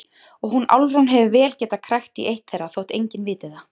Og hún Álfrún hefur vel getað krækt í eitt þeirra þótt enginn viti það.